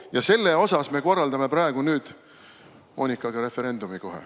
Ja selle pärast me korraldame praegu kohe Moonikaga referendumi.